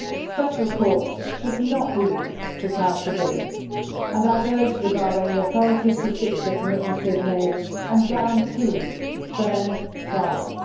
Special courts should not be used to try civilians and I have urged the Bahraini authorities to stick to the commitments they have made and guarantee fair trials.